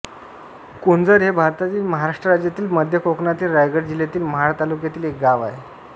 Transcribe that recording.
कोंझर हे भारतातील महाराष्ट्र राज्यातील मध्य कोकणातील रायगड जिल्ह्यातील महाड तालुक्यातील एक गाव आहे